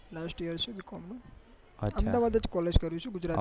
lastyear છે b. com નું અમદાવાદ જ કોલેજ કરું છુ